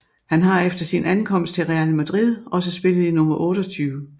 Han har efter sin ankomst til Real Madrid også spillet i nummer 28